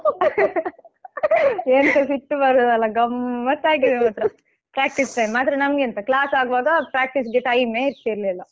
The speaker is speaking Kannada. ಎಂತ ಸಿಟ್ಟು ಬರುದಲ್ಲಾ ಗಮ್ಮತ್ ಆಗಿದೆ ಮಾತ್ರ practice time ಮಾತ್ರ ನಮಗೆಂತ class ಆಗುವಾಗ practice ಗೆ time ಮೇ ಇರ್ತಿರ್ಲಿಲ್ಲ.